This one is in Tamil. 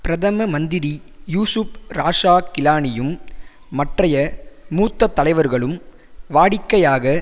பிரதம மந்திரி யூசுப் ராசா கிலானியும் மற்றய மூத்த தலைவர்களும் வாடிக்கையாக